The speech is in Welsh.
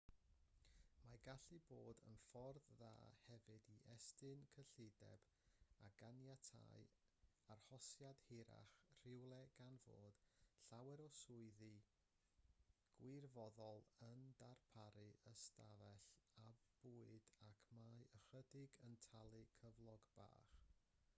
mae'n gallu bod yn ffordd dda hefyd i estyn cyllideb i ganiatáu arhosiad hirach rhywle gan fod llawer o swyddi gwirfoddol yn darparu ystafell a bwyd ac mae ychydig yn talu cyflog bach